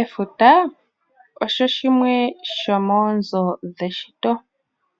Efuta olyo limwe lyomoonzo dheshito.